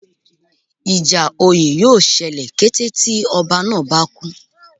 Ìjà oyè yóò ṣẹlẹ̀ kété tí ọba náà bá kú